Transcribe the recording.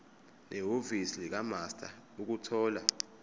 nehhovisi likamaster ukuthola